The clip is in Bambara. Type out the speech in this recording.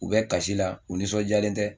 U bɛ kasi la u nisɔndiyalen tɛ